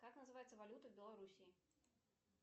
как называется валюта в белоруссии